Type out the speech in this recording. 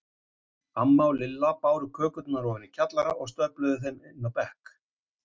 Amma og Lilla báru kökurnar ofan í kjallara og stöfluðu þeim inn á bekk.